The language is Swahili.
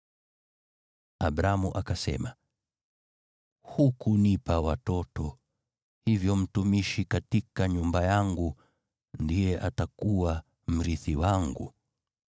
Abramu akasema, “Hukunipa watoto, hivyo mtumishi katika nyumba yangu ndiye atakuwa mrithi wangu.”